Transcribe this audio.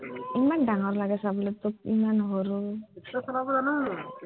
ইমান ডাঙৰ লাগে চাবলে, তোক ইমান সৰু